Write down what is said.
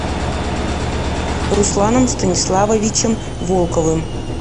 русланом станиславовичем волковым